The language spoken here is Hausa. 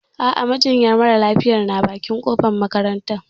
A'a, majinyar mara lafiyayana bakin kofar makaranta.